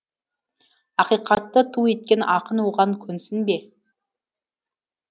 ақиқатты ту еткен ақын оған көнсін бе